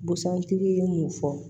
Busan tigi ye mun fɔ